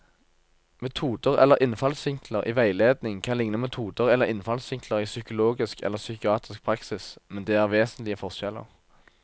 Metoder eller innfallsvinkler i veiledning kan likne metoder eller innfallsvinkler i psykologisk eller psykiatrisk praksis, men det er vesentlige forskjeller.